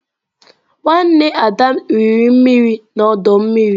Nwanne Ada riri mmiri n'ọdọ mmiri.